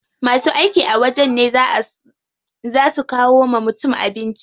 Masu aiki a wajen ne zaa su kawo wa mutum abinci.